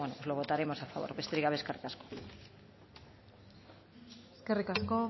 pues lo votaremos a favor besterik gabe eskerrik asko eskerrik asko